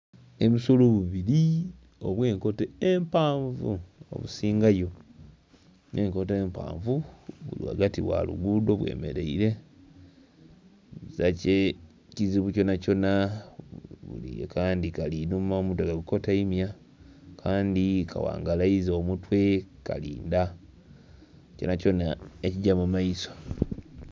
Obusolo bubiri obwe enkoto empanvu obusingayo nhe enkoto empanvu buli ghagati gha lugudho bwe mereire ezira kye kizibu kyona kyona, akandhi kali inhuma omutwe ka gu koteimya, akandhi ka ghangalaiza omutwe kali nda kyona kyona ekigya mu maiso.